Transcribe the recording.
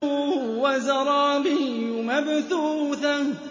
وَزَرَابِيُّ مَبْثُوثَةٌ